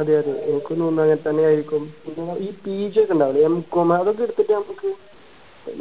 അതെയതെ എനിക്കും തോന്നുന്നു അങ്ങനെ തന്നെയായിരിക്കും ഈ PG ഒക്കെ ഉണ്ടാവൂലേ M.Com ഇതൊക്കെ എടുത്തിട്ട് നമുക്ക്